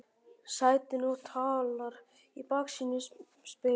sætinu og talar í baksýnisspegilinn